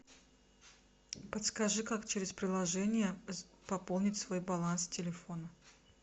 подскажи как через приложение пополнить свой баланс телефона